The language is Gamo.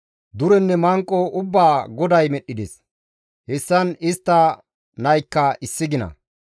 Durenne manqo ubbaa GODAY medhdhides; hessan istta naykka issi gina.